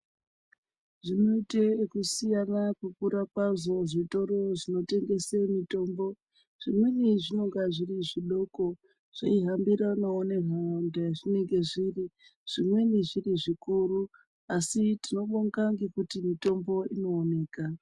Zvinoita yekusiyana kukura kwazvo zvitoro zvinotengesa mitombo zvimweni zvinenge zviri zvidoko zveihambiranawo nenharaunda yazvinenge zviri zvimweni zviri zvikuru asi tinobonga ngekuti mitombo inooneka.